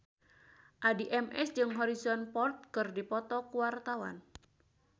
Addie MS jeung Harrison Ford keur dipoto ku wartawan